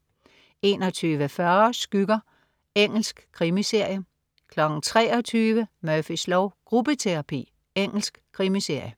21.40 Skygger. Engelsk krimiserie 23.00 Murphys lov: Gruppeterapi. Engelsk krimiserie